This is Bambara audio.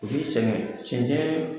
U b'i sɛgɛn cɛncɛn